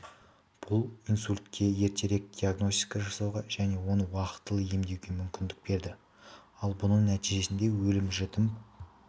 бұл инсультке ертерек диагностика жасауға және оны уақытылы емдеуге мүмкіндік берді ал бұның нәтижесінде өлім-жітім